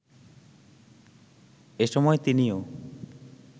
এসময় তিনিও